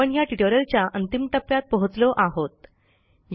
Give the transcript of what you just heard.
आपण ह्या ट्युटोरियलच्या अंतिम टप्प्यात पोहोचलो आहोत